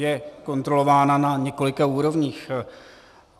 Je kontrolována na několika úrovních.